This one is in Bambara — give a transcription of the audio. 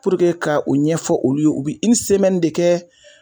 ka u ɲɛfɔ olu ye, u bi de kɛ